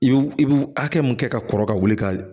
I bi i bi hakɛ mun kɛ ka kɔrɔ ka wuli ka